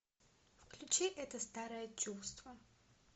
включи это старое чувство